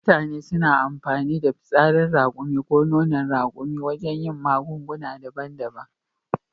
Mutane suna amfani da fitsarin raƙumi ko nonon raƙuma wajen yin magunguna daban daban